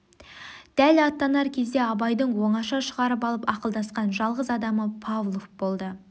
дәл аттанар кезде абайдың оңаша шығарып алып ақылдасқан жалғыз адамы павлов болды